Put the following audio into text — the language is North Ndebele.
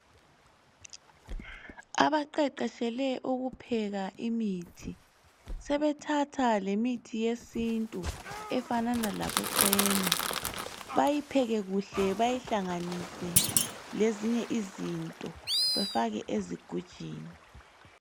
Abaqeqetshele ukupheka imithi sebethatha lemithi yesintu efanana labocena bayipheke kuhle bayihlanganise lezinye izinto bafake ezigujwini